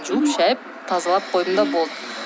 жуып шайып тазалап қойдым да болды